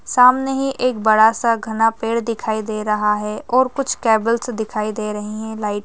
सामने ही एक बड़ा सा घना पेड़ दिखाई दे रहा है और कुछ केबल्स दिखाई दे रहे है लाइट --